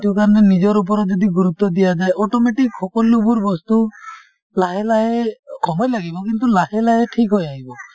সেইটো কাৰণে নিজৰ ওপৰত যদি গুৰুত্ব দিয়া যায় automatic সকলোবোৰ বস্তু লাহে লাহে, সময় লাগিব, কিন্তু লাহে লাহে ঠিক হৈ আহিব ।